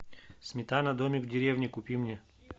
сметана домик в деревне купи мне